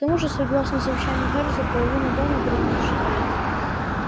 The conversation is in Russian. к тому же согласно завещанию чарлза половина дома принадлежит ей